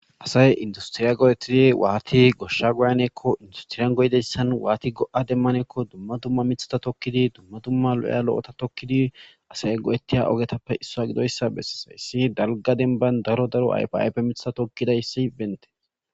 asay industiriya godettidi waati goshsha goyanekko industiriyan goydeyssan waati go7a demmanekko dumma dumma mithata tokkidi dumma dumma lo7eya lo7ota tokkidi asay go7ettiya ogetappe issoa gidoyssa bessesaissi dalga denban daro daro ayfiaype mitha tokkidayssi bente